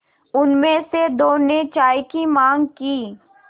उनमें से दो ने चाय की माँग की